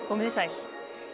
komið þið sæl